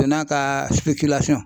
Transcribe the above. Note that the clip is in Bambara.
n'a ka